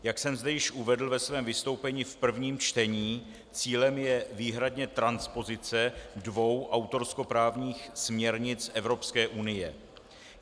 Jak jsem zde již uvedl ve svém vystoupení v prvním čtení, cílem je výhradně transpozice dvou autorskoprávních směrnic Evropské unie.